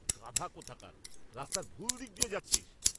গাধা কোথাকার! রাস্তার ভুল দিক দিয়ে যাচ্ছিস।